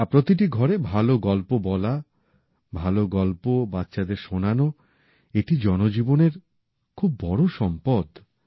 আর প্রতিটি ঘরে ভালো গল্প বলা ভালো গল্প বাচ্চাদের শোনানো এটি জনজীবনের খুব বড় সম্পদ